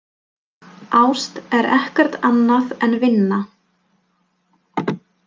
Ást er ekkert annað en vinna.